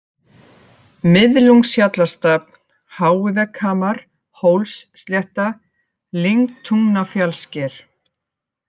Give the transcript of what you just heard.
Miðlungshjallastafn, Háivegghamar, Hólsslétta, Lyngtungnafjallssker